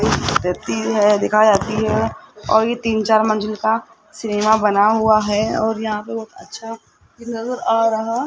व्यक्ति है दिखाई जाती है और ये तीन चार मंजिल का सिनेमा बना हुआ है और यहां पर बहुत अच्छा नजर आ रहा --